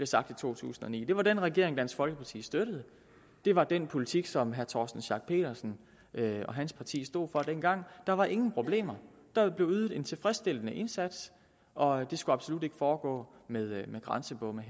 sagt i to tusind og ni det var den regering dansk folkeparti støttede det var den politik som herre torsten schack pedersen og hans parti stod for dengang der var ingen problemer der blev ydet en tilfredsstillende indsats og det skulle absolut ikke foregå med grænsebomme